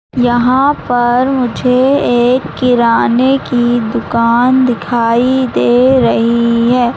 यहां पर मुझे एक किराने की दुकान दिखाई दे रही हैं।